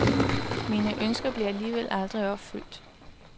Mine ønsker bliver alligevel aldrig opfyldt.